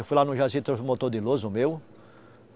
Eu fui lá no Jaci, trouxe o motor de luz, o meu.